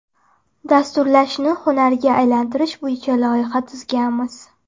Dasturlashni hunarga aylantirish bo‘yicha loyiha tuzganmiz.